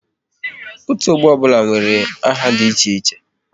Otu ọgbọ ọbụla nwere aha dị iche